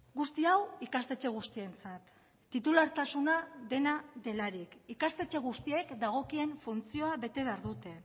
guzti hau ikastetxe guztientzat titulartasuna dena delarik ikastetxe guztiek dagokien funtzioa bete behar dute